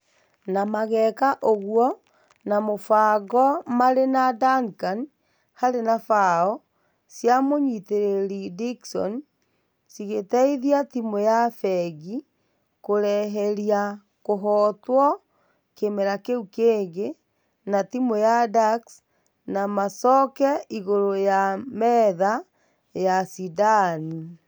Na mageka ũguo na mũfango mare na Duncan , Harry na bao cia mũnyitereri Dickson cĩgeteithia timũ ya fengi kũreheria kũhotwo kimera kĩu kengĩ na timũ ya ducks na macoke igũru ya metha ya ashidani.